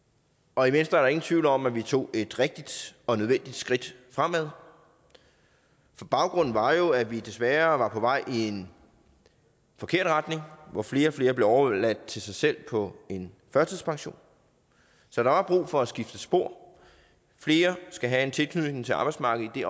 og i venstre er der ingen tvivl om at vi tog et rigtigt og nødvendigt skridt fremad for baggrunden var jo at vi desværre var på vej i en forkert retning hvor flere og flere blev overladt til sig selv på en førtidspension så der var brug for at skifte spor flere skal have en tilknytning til arbejdsmarkedet i